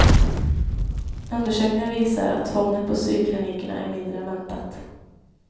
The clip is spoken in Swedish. Undersökningen visar, att tvånget på psykklinikerna är mindre än väntat.